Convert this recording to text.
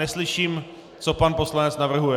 Neslyším, co pan poslanec navrhuje.